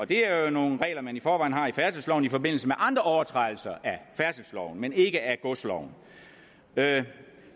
det er jo nogle regler som man i forvejen har i færdselsloven i forbindelse med andre overtrædelser af færdselsloven men ikke af godsloven